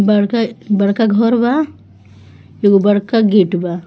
बड़का-बड़का घर बा एगो बड़का गेट बा।